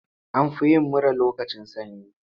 An fi yin mura lokacin sanyi.